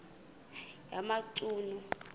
yamachunu